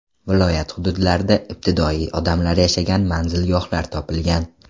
Viloyat hududlarida ibtidoiy odamlar yashagan manzilgohlar topilgan.